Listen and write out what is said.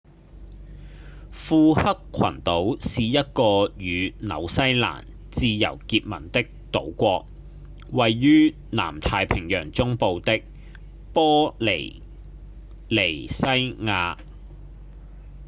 庫克群島是一個與紐西蘭自由結盟的島國位於南太平洋中部的玻里尼西亞